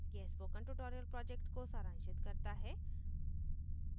यह spoken tutorial को सारांशित करता है